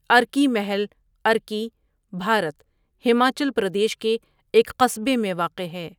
ارکی محل ارکی، بھارت، ہماچل پردیش کے ایک قصبے میں واقع ہے۔